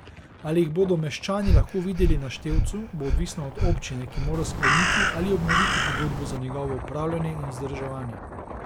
Ali jih bodo meščani lahko videli na števcu, bo odvisno od občine, ki mora skleniti ali obnoviti pogodbo za njegovo upravljanje in vzdrževanje.